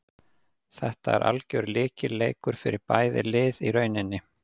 Þetta er algjör lykilleikur fyrir bæði lið í rauninni.